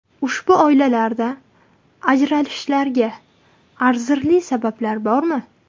Ushbu oilalarda ajralishlarga arzirli sabablar bormi?